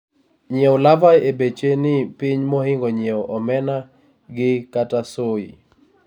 nyiewo larvae beche ni piny mohingo nyiewo omena gi/kata soy